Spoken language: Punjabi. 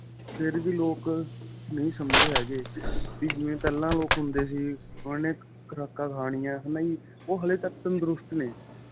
ਫ਼ੇਰ ਵੀ ਲੋਕ ਨਹੀਂ ਸਮਝ ਰਹੇ ਹੈਗੇ ਜਿਵੇਂ ਪਹਿਲਾਂ ਲੋਕ ਹੁੰਦੇ ਸੀ ਉਹਨਾ ਨੇ ਖੁਰਾਕਾ ਖਾਨਿਆ ਹੈਨਾ ਜੀ ਉਹ ਹਲੇ ਤੱਕ ਤੰਦਰੁਸਤ ਨੇ